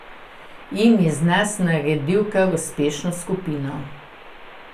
In iz nas naredil kar uspešno skupino.